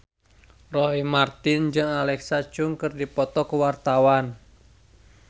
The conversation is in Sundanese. Roy Marten jeung Alexa Chung keur dipoto ku wartawan